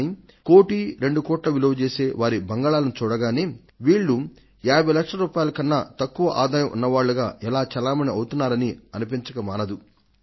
కానీ ఒక కోటి 2 కోట్ల విలువజేసే వారి బంగళాలను చూడగానే వీళ్లు 50 లక్షల కన్నా తక్కువ ఆదాయం ఉన్నవాళ్లుగా ఎలా చలామణి అవుతున్నారని అనిపించక మానదు